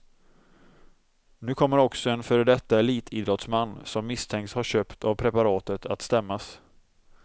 Nu kommer också en före detta elitidrottsman, som misstänks ha köpt av preparatet att stämmas.